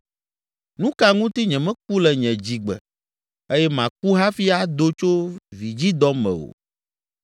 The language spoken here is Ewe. “Nu ka ŋuti nyemeku le nye dzigbe eye maku hafi ado tso vidzidɔ me o?